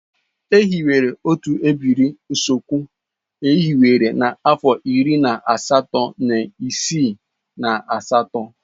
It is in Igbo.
E hiwere otu ebiri Osukwu e hiwere na-afo iri na asatọ iri isii na asatọ.